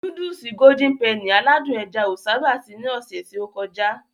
Núdùùsì "Golden Penny" aládùn ẹja o sábà sí ní ọsẹ ti o kọjá.